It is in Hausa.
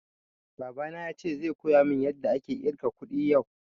Baba na yace zai koya mun yada ake ƙirga kuɗi yau